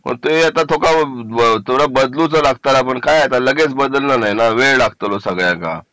तर ते आता थोडंसं बदलू का लागत ला पण काय आता लगेच बदलणार नाही ना वेळ लागतो ना सगळ्या का